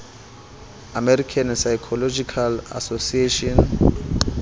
american psychological association